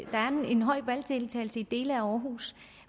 en høj valgdeltagelse i dele af aarhus